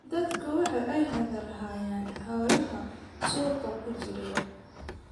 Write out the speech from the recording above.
Dadku waxa ay hadal hayaan xoolaha suuqa ku jira.